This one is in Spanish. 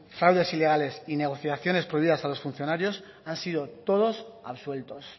fraudes ilegales y negociaciones prohibidas a los funcionarios han sido todos absueltos